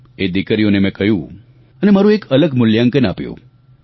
તે દિકરીઓને મેં કહ્યું અને મારું એક અલગ મૂલ્યાંકન આપ્યું